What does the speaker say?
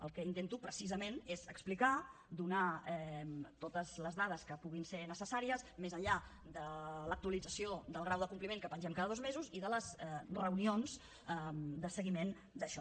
el que intento precisament és explicar donar totes les dades que puguin ser necessàries més enllà de l’actualització del grau de compliment que pengem cada dos mesos i de les reunions de seguiment d’això